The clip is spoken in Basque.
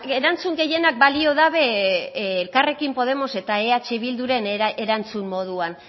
erantzun gehienak balio dabe elkarrekin podemos eta eh bilduren erantzun moduan